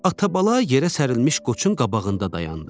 Atabala yerə sərilmiş qoçun qabağında dayandı.